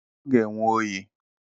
Ọ ga-enwe oyi